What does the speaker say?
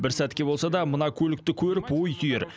бір сәтке болса да мына көлікті көріп ой түйер